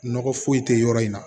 Nɔgɔ foyi tɛ yɔrɔ in na